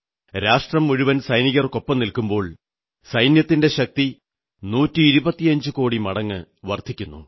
രാഷ്ട്രം മുഴുവൻ സൈനികർക്കൊപ്പം നിൽക്കുമ്പോൾ സൈന്യത്തിന്റെ ശക്തി 125 കോടി മടങ്ങ് വർധിക്കുന്നു